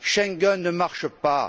Schengen ne marche pas!